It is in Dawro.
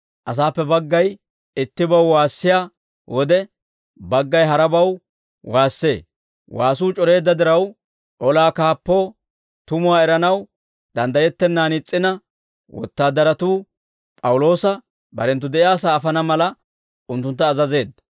Asaappe baggay ittibaw waassiyaa wode, baggay harabaw waassee; waasuu c'oreedda diraw, olaa kaappoo tumuwaa eranaw danddayettennan is's'ina, wotaadaratuu P'awuloosa barenttu de'iyaasaa afana mala, unttuntta azazeedda.